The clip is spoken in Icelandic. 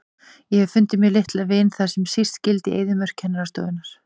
Ég hef fundið mér litla vin þar sem síst skyldi, í eyðimörk kennarastofunnar.